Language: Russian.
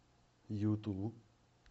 юту